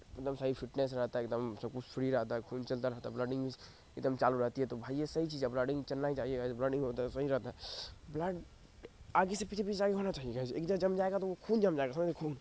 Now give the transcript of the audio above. सही फिटनेस हो जाता है एक दम सब कुछ फ्री रहता है खून चलता रहता है ब्लडइंग एक दम चालू रहती हैं तो है भाई ये सही चीज हैं ब्लडइंग चलना ही चाहिए बन नहीं होता हैं सही रहता हैं ब्लडइंग आगे से पीछे भी चालू होना चाहिए गाय्स एक दम जम जाएगा तो वो खून जम जाएगा खून --